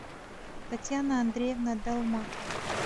татьяна андреевна долматова